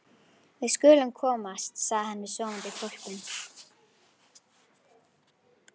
Við skulum komast, sagði hann við sofandi hvolpinn.